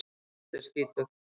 Allt er skítugt.